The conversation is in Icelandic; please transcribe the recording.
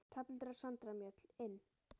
Hrafnhildur og Sandra Mjöll: Inn?